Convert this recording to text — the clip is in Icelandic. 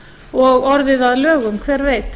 og orðið að lögum hver veit